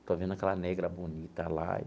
Estou vendo aquela negra bonita lá.